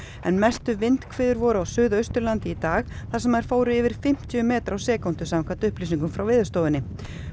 en mestu vindhviður voru á Suðausturlandi í dag þar sem þær fóru yfir fimmtíu metra á sekúndu samkvæmt upplýsingum frá Veðurstofunni